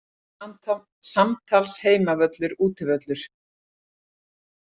Samtals Heimavöllur Útivöllur